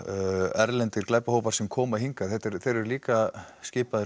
erlendir glæpahópar sem koma hingað þeir eru líka skipaðir